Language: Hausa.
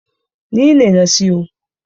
Ni ne na siyo.